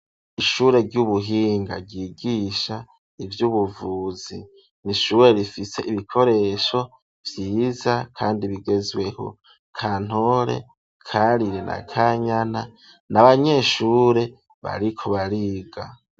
Ishure ry'ubuhinga, ryigisha ivy'ubuvuzi; ni ishure rifise ibikoresho vyiza, kandi bigezweho; Kantore, Karire na Kanyana, ni abanyeshure, bariko bariga.